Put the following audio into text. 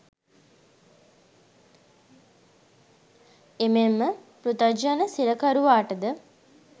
එමෙන්ම පෘතග්ජන සිරකරුවාට ද,